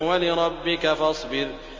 وَلِرَبِّكَ فَاصْبِرْ